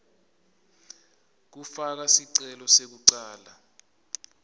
kufaka sicelo sekucala